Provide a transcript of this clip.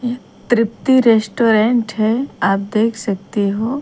तृप्ति restaurant हैं आप देख सकते हो।